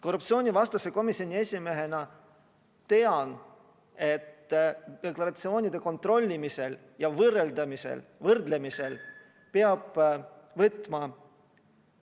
Korruptsioonivastase komisjoni esimehena tean, et deklaratsioonide kontrollimisel ja võrdlemisel peab võtma ...